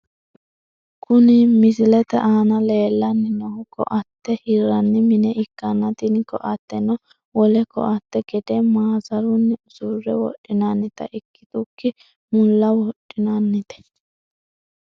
Kuni misilete aana lellanni noohu koatte hirranni mine ikkanna, tini koatteno wole koatte gede maasarunni usurre wodhinannita ikkitukki mulla wodhinannite.